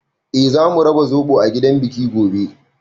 Eh, zamu raba zoɓo a gidan biki gobe.